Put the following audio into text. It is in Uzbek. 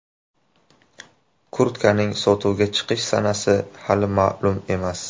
Kurtkaning sotuvga chiqish sanasi hali ma’lum emas.